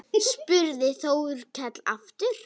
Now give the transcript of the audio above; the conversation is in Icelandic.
spurði Þórkell aftur.